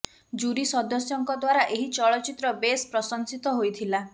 jury ସଦସ୍ୟଙ୍କ ଦ୍ବାରା ଏହି ଚଳଚ୍ଚିତ୍ର ବେଶ୍ ପ୍ରଶଂସିତ ହୋଇଥିଲା